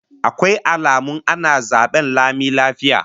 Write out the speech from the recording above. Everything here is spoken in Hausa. Akwai alamun ana zaben lami lafiya?